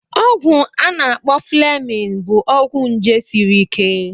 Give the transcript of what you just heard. Ọgwụ a na-akpọ Fleming bụ ọgwụ nje sịrị ike.